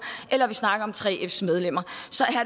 eller når vi snakker om 3fs medlemmer så